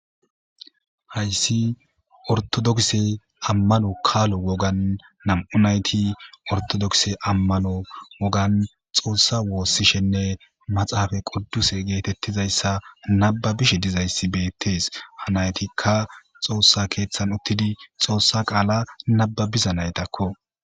Hayssi ortodokse ammano kaalo wogan nam7u nayti ortodokse ammano wogan xoossa woossishenne maxaafa qodduse geetettizayssa nababishe dizayssi beettees hanaytikka xoossa keeththan uttidi xoossa qaala nababiza naytakko.